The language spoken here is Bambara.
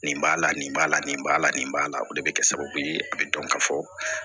Nin b'a la nin b'a la nin b'a la nin b'a la o de bɛ kɛ sababu ye a bɛ dɔn ka fɔ